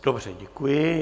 Dobře, děkuji.